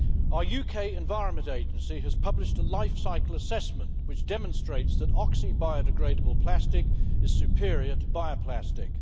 Our UK Environment Agency has published a life cycle assessment, which demonstrates that oxo biodegradable plastic is superior to bio plastic.